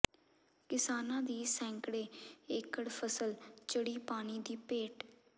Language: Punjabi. ਕਿਸਾਨਾਂ ਦੀ ਸੈਂਕੜੇ ਏਕੜ ਫ਼ਸਲ ਚੜ੍ਹੀ ਪਾਣੀ ਦੀ ਭੇਟ